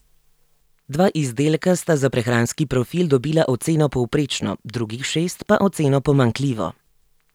Dva izdelka sta za prehranski profil dobila oceno povprečno, drugih šest pa oceno pomanjkljivo.